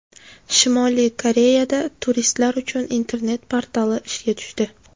Shimoliy Koreyada turistlar uchun internet portali ishga tushdi.